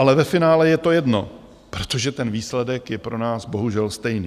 Ale ve finále je to jedno, protože ten výsledek je pro nás bohužel stejný.